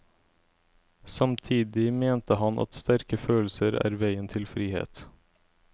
Samtidig mente han at sterke følelser er veien til frihet.